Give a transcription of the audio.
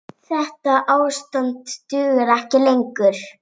Þetta ástand dugar ekki lengur.